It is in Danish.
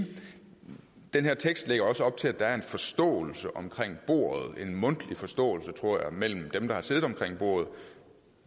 den her tekst lægger også op til at der er en forståelse omkring bordet en mundtlig forståelse tror jeg mellem dem der har siddet omkring bordet